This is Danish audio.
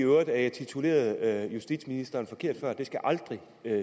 i øvrigt at jeg titulerede justitsministeren forkert før det skal aldrig